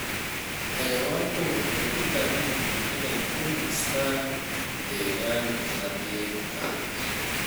Xayawaanku waxay u baahan yihiin inay ku nastaan ??deegaan nadiif ah.